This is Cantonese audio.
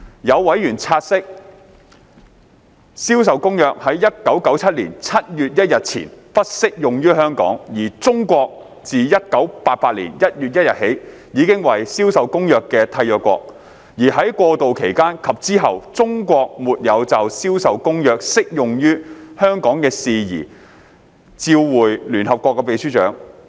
有委員察悉，《銷售公約》在1997年7月1日前不適用於香港，而中國自1988年1月1日起已為《銷售公約》的締約國，而在過渡期間及之後，中國沒有就《銷售公約》適用於香港的事宜照會聯合國秘書長。